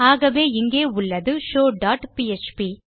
ஆகவே இங்கே உள்ளது ஷோவ் டாட் பிஎச்பி